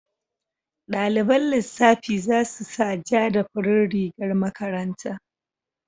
Daliban lissafi za su sa ja da farin rigar makaranta.